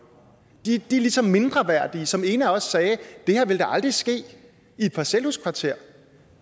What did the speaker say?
de er ligesom mindreværdige som ena også sagde det her ville da aldrig ske i et parcelhuskvarter